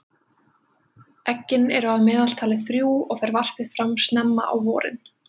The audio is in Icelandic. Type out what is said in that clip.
eggin eru að meðaltali þrjú og fer varpið fram snemma á vorin